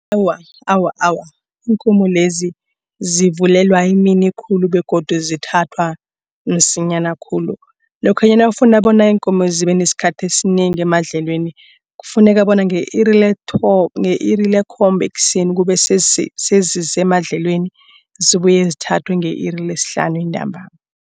Awa, awa, awa, iinkomo lezi zivulelwa emini khulu begodu zithathwa msinyana khulu. Lokhanyana nawufuna bona iinkomo zibe nesikhathi esinengi emadlelweni. Kufuneka bona nge-iri lekhomba ekuseni kube sezisemadlelweni zibuye zithathwe nge-iri lesihlanu entambama.